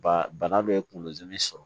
Ba bana dɔ ye kunkolo dimi sɔrɔ